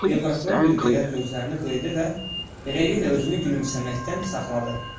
deyə prokuror bir qədər gözlərini qıyıb və beləliklə özünü gülümsəməkdən saxladı.